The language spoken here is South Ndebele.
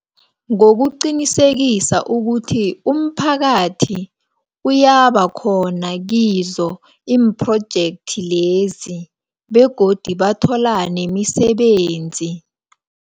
Ngokuqinisekisa ukuthi, umphakathi kuyabakhona kizo iphrojekthi lezi, begodu bathola nemisebenzi.